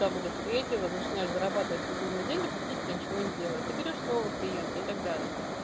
там уже с третьего начинаешь зарабатывать безумные деньги практически ничего не делая ты берёшь снова клиента и так далее